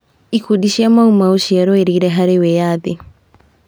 Ikundi cia Mau Mau ciarũĩrĩire harĩ wĩyathi.